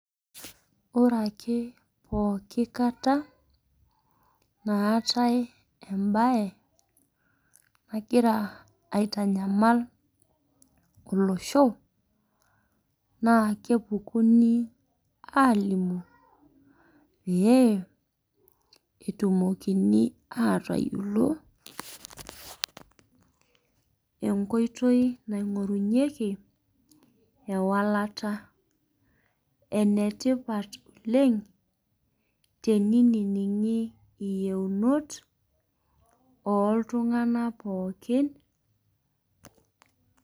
Ore ake pooki kata naatae embae nagir aitanyamal olosho na kepukuni alimu pee etumokini atayiolo enkoitoi naimgorunyeki eolata enetipat oleng teniningi yiounot oltunganak pooki.